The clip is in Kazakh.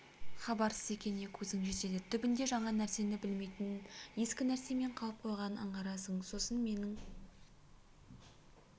хабарсыз екеніне көзің жетеді түбінде жаңа нәрсені білмейтінін ескі нәрсемен қалып қояғанын аңғарасың сосын менің